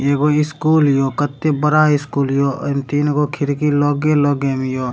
एगो स्कूल हियो कते बड़ा स्कूल हियो अ तीन गो खिड़की लगे-लगे हियो।